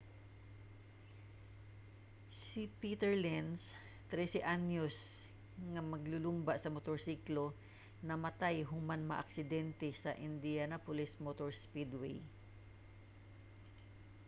si peter lenz 13-anyos nga maglulumba sa motorsiklo namatay human makaaksidente sa indianapolis motor speedway